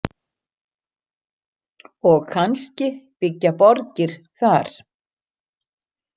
Og kannski byggja borgir þar?